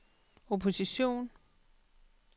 opposition